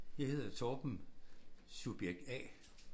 Jeg hedder Torben subjekt A